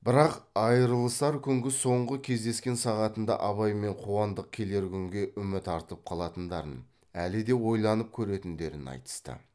бірақ айрылысар күнгі соңғы кездескен сағатында абай мен қуандық келер күнге үміт артып қалатындарын әлі де ойланып көретіндерін айтысты